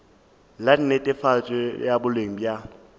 la netefatšo ya boleng bja